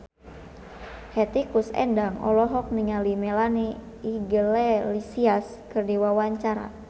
Hetty Koes Endang olohok ningali Melanie Iglesias keur diwawancara